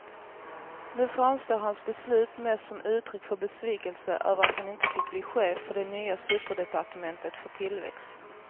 Nu framstår hans beslut mest som uttryck för besvikelse över att han inte fick bli chef för det nya superdepartementet för tillväxt.